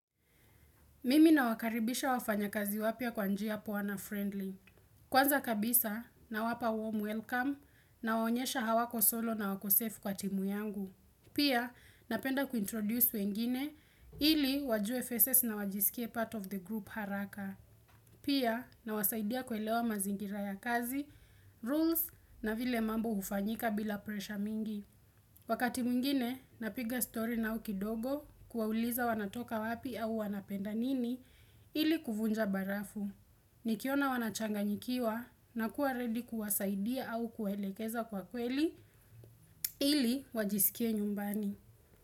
Mimi nawakaribisha wafanyakazi wapya kwa njia poa na friendly. Kwanza kabisa, nawapa warm welcome, nawaonyesha hawako solo na wako safe kwa timu yangu. Pia napenda ku introduce wengine ili wajue faces na wajisikie part of the group haraka. Pia nawasaidia kuelewa mazingira ya kazi, rules na vile mambo hufanyika bila pressure mingi. Wakati mwingine, napiga stori nao kidogo kuwauliza wanatoka wapi au wanapenda nini ili kuvunja barafu. Nikiona wanachanganyikiwa nakuwa ready kuwasaidia au kuwaelekeza kwa kweli ili wajisikie nyumbani.